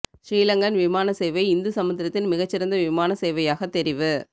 ஸ்ரீலங்கன் விமான சேவை இந்து சமுத்திரத்தின் மிகச் சிறந்த விமான சேவையாக தெரிவு